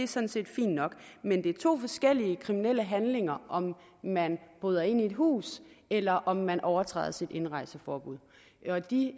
sådan set fint nok men det er to forskellige kriminelle handlinger om man bryder ind i et hus eller om man overtræder sit indrejseforbud og de